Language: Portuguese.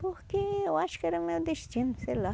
Porque eu acho que era meu destino, sei lá.